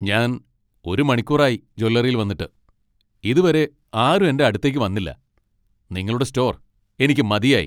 ഞാൻ ഒരു മണിക്കൂർ ആയി ജ്വല്ലറിയിൽ വന്നിട്ട് , ഇതുവരെ ആരും എന്റെ അടുത്തേക്ക് വന്നില്ല. നിങ്ങളുടെ സ്റ്റോർ എനിക്ക് മതിയായി.